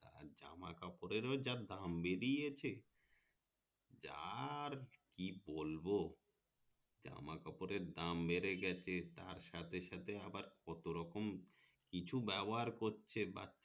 কাপড়ের যে দাম বেরিয়েছে যা আর কি বলবো জামা কাপড়ের বেড়ে গেছে তার সাথে সাথে আবার কত রকম কিছু ব্যবহার করছে বাচ্ছা